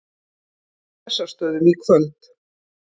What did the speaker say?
Bessastöðum í kvöld!